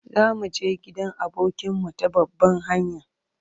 Za mu je gidan abokinmu ta babban hanya.